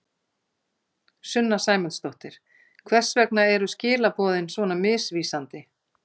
Sunna Sæmundsdóttir: Hvers vegna eru skilaboðin svona misvísandi?